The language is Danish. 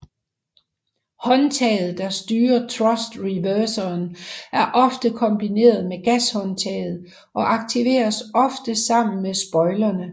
Håndtaget der styrer thrust reverseren er ofte kombineret med gashåndtaget og aktiveres ofte sammen med spoilerne